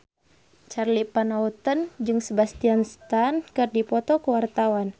Charly Van Houten jeung Sebastian Stan keur dipoto ku wartawan